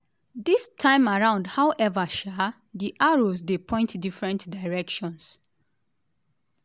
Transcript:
dis time around howeva um di arrows dey point different directions.